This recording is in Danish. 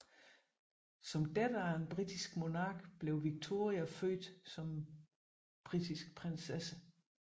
Som datter af en britisk monark blev Victoria født som britisk prinsesse